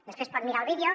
després pot mirar el vídeo